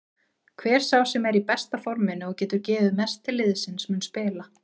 Hver sá sem er í besta forminu og getur gefið mest til liðsins mun spila.